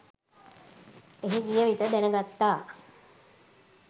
එහි ගියවිට දැනගත්තා